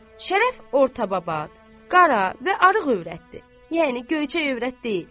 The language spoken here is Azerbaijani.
Şərəf ortabab, qara və arıq övrətdi, yəni göyçək övrət deyil.